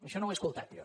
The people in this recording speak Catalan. això no ho he escoltat jo